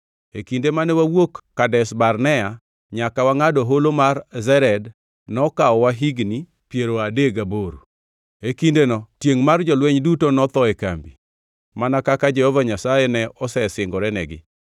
E kinde mane wawuok Kadesh Barnea nyaka wangʼado Holo mar Zered nokawowa higni piero adek gaboro. E kindeno tiengʼ mar jolweny duto notho e kambi, mana kaka Jehova Nyasaye ne osesingorenegi.